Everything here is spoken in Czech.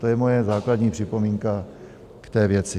To je moje základní připomínka k té věci.